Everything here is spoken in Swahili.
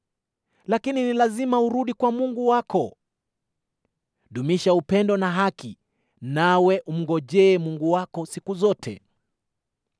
Lakini ni lazima urudi kwa Mungu wako; dumisha upendo na haki, nawe umngojee Mungu wako siku zote.